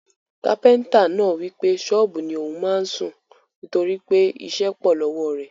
Kápẹ́ntà náà wípé sọ́ọ́bù ni ò ún máa sùn, toripe iṣẹ́ pọ̀ lọ́wọ́ rẹ̀